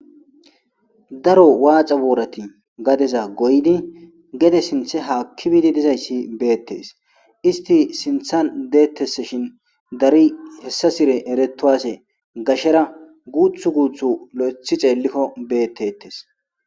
Daro watha borati gadezza goyidi gede sinthe haki bidi dizzayssi bettes isti sinthan dizashin darro hesasire eretuwase gashera guthu guthu loythi xelikko bettetes